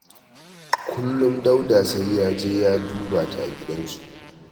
Kullum Dauda sai ya je ya duba ta a gidansu